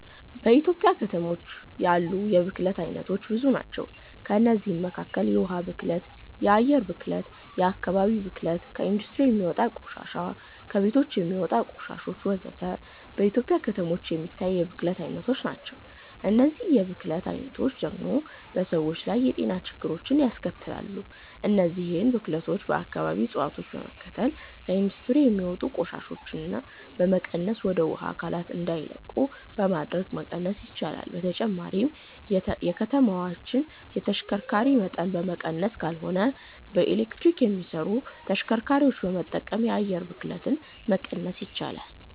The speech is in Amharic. በኢትዮጵያ ከተሞች ያሉ የብክለት አይነቶች ብዙ ናቸው። ከእነዚህም መካከል የውሃ ብክለት፣ የአየር ብክለት፣ የአከባቢ ብክለት፣ ከኢንዱስትሪ የሚወጣ ቆሻሻ፣ ከቤቶች የሚወጣ ቆሻሾች ወዘተ። በኢትዮጵያ ከተሞች የሚታይ የብክለት አይነቶች ናቸው። እነዚህ የብክለት አይነቶች ደግሞ በሰዎች ላይ የጤና ችግሮችን ያስከትላሉ። እነዚህን ብክለቶች በአከባቢ እፀዋቶችን በመትከል፣ ከኢንዱስትሪ የሚወጡ ቆሻሻዎችን በመቀነስና ወደ ውሃ አካላት እንዳይለቁ በማድረግ መቀነስ ይቻላል። በተጨማሪም የከተማዎችን የተሽከርካሪ መጠን በመቀነስ ካልሆነም በኤሌክትሪክ የሚሰሩ ተሽከርካሪዎችን በመጠቀም የአየር ብክለትን መቀነስ ይቻላል።